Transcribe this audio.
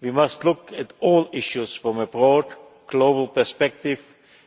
We must look at all issues from a broad, global perspective